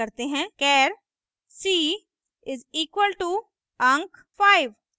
char c = अंक 5